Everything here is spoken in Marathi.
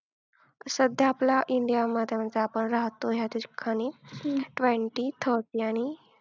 सध्या आपला India मध्ये म्हणजे आपण राहतो ह्या ठिकाणी twenty, thirty आणि